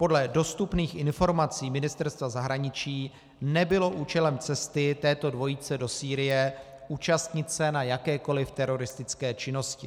Podle dostupných informací Ministerstva zahraničí nebylo účelem cesty této dvojice do Sýrie účastnit se na jakékoliv teroristické činnosti.